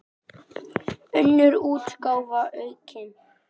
Önnur útgáfa aukin.